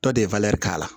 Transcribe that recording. Tɔ de ye k'a la